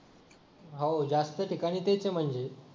हो जास्त ठिकाणी तेच म्हणजे